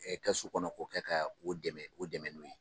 Kɛsu kɔnɔ k'o kɛ ka o dɛmɛ o dɛmɛ n'o ye.